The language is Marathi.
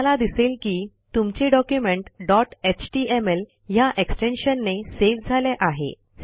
तुम्हाला दिसेल की तुमचे डॉक्युमेंट डॉट एचटीएमएल ह्या एक्सटेन्शनने सेव्ह झाले आहे